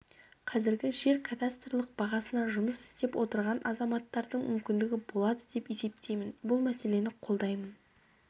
қазіргі жер кадастарлық бағасына жұмыс істеп отырған азаматтардың мүмкіндігі болады деп есептеймін бұл мәселені қолдаймын